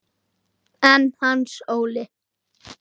En Hans Óli?